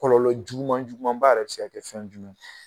Kɔlɔlɔ juguman juguuma b'a yɛrɛ be se ka kɛ fɛn jumɛn ye?